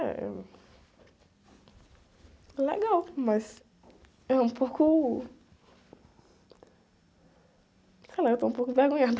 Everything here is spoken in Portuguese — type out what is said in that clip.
Eh, uh... É... Legal, mas... É um pouco... Sei lá, eu estou um pouco vergonhada.